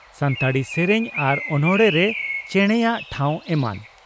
ᱥᱟᱱᱛᱟᱲᱤ ᱥᱮᱨᱮᱧ ᱟᱨ ᱚᱱᱚᱬᱦᱮ ᱨᱮ ᱪᱮᱬᱮᱭᱟᱜ ᱴᱷᱟᱣ ᱮᱢᱟᱱ ᱾